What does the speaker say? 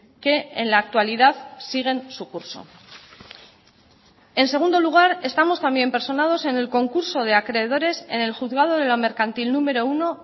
que en la actualidad siguen su curso en segundo lugar estamos también personados en el concurso de acreedores en el juzgado de lo mercantil número uno